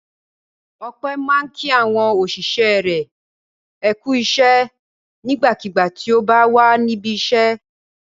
Ọpẹ́ máa ń kí àwọn òṣìṣẹ́ rẹ̀ ní "ẹ kú iṣẹ́" nígbàkigbà tí ó bá wà níbi iṣẹ́.